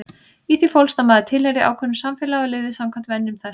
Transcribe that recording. Í því fólst að maður tilheyrði ákveðnu samfélagi og lifði samkvæmt venjum þess.